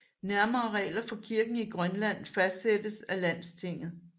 Nærmere regler for kirken i Grønland fastsættes af landstinget